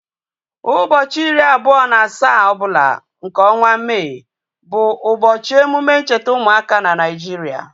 Ụbọchị iri abụọ na asaa ọbụla nke ọnwa May bụ ụbọchị emume ncheta ụmụaka na Nigeria